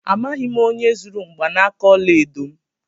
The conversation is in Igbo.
Amaghị m onye zuru mgbanaka ọla edo m.